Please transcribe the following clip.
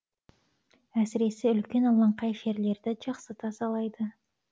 әсіресе үлкен алаңқай жерлерді жақсы тазалайды